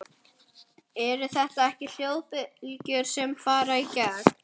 Eru þetta ekki hljóðbylgjur sem fara í gegn?